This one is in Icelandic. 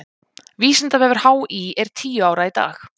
Vísindavefur HÍ er tíu ára í dag.